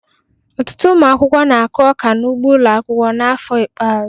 Ọtụtụ ụmụ akwụkwọ na-akụ ọka n'ugbo ụlọ akwụkwọ n'afọ ikpeazụ